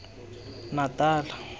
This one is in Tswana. natala